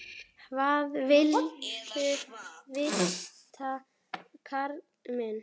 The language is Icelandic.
Hvað viltu vita, karl minn?